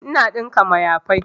Ina ɗinka mayafai